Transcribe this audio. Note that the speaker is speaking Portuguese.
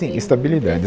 Sim, estabilidade.